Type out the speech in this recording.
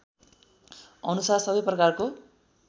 अनुसार सबै प्रकारको